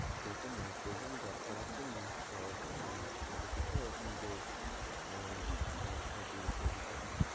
যত নাইট্রোজেন দরকার আছে soil এ মানে মাটিতে ওর নিজের উম গাছ থেকে তৈরি করে নেবে